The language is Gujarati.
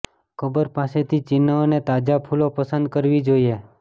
કબર પાસેથી ચિહ્ન અને તાજા ફૂલો પસંદ કરવી જોઇએ